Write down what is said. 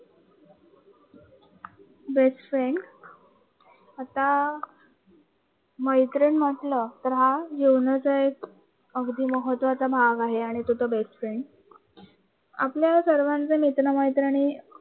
Best friend आता मैत्रीण म्हटलं, तर हा जीवनाचा एक अगदी महत्त्वाचा भाग आहे. आणि तो तर बेस्ट फ्रेंड आपल्या सर्वांचे मित्र-मैत्रिणी